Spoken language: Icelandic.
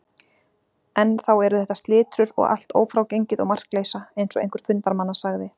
Enn þá eru þetta slitrur og allt ófrágengið og markleysa, eins og einhver fundarmanna sagði.